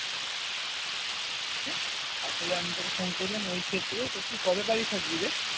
আসলে আমি তোকে phone করলাম ঐ ক্ষেত্রে তো তুই কবে বাড়ি থাকবিরে?